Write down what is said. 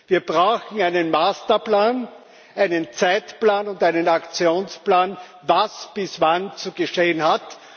Wir brauchen einen Masterplan, einen Zeitplan und einen Aktionsplan, was bis wann zu geschehen hat.